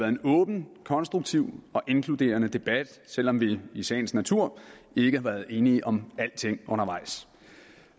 en åben konstruktiv og inkluderende debat selv om vi i sagens natur ikke har været enige om alting undervejs